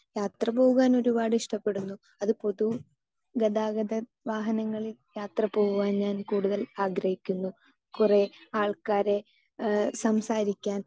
Speaker 2 യാത്ര പോകുവാൻ ഒരുപാട് ഇഷ്ടപ്പെടുന്നു. അത് പൊതുഗതാഗത വാഹനങ്ങളിൽ യാത്ര പോകുവാൻ ഞാൻ കൂടുതൽ ആഗ്രഹിക്കുന്നു. കുറെ ആൾക്കാരെ, സംസാരിക്കാൻ